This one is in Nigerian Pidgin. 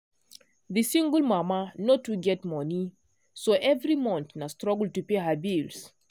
the single mama no too get money so every month na struggle to pay her bills.